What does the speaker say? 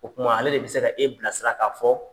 O kuma ale de bɛ se ka e bilasira ka fɔ